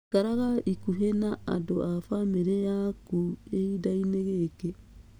Ikaraga ikuhĩ na andũ a bamĩrĩ yaku kĩhindai-inĩ gĩkĩ.